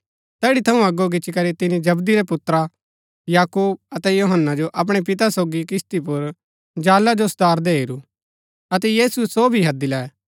तैड़ी थऊँ अगो गिच्ची करी तिनी जबदी रै पुत्रा याकूब अतै यूहन्‍ना जो अपणै पिता सोगी किस्ती पुर जाला जो सुधारदै हेरू अतै यीशुऐ सो भी हैदी लै